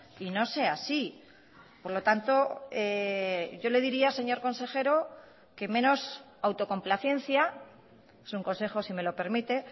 y no sea así por lo tanto yo le diría señor consejero que menos autocomplacencia es un consejo si me lo permite